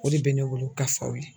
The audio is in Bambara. O de bɛ ne wolo ka f'aw ye.